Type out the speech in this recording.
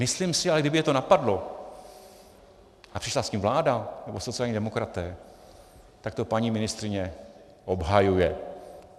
Myslím si, ale kdyby je to napadlo a přišla s tím vláda nebo sociální demokraté, tak to paní ministryně obhajuje.